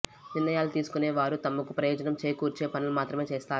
నిర్ణయాలు తీసుకునే వారు తమకు ప్రయోజనం చేకూర్చే పనులు మాత్రమే చేస్తారు